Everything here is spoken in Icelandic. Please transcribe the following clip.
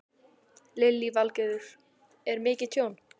Lillý Valgerður: Er mikið tjón?